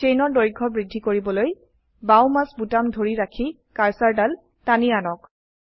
চেইনৰ দৈৰ্ঘ্য বৃদ্ধি কৰিবলৈ বাও মাউস বোতাম ধৰি ৰাখি কাৰ্সাৰদাল টানি আনক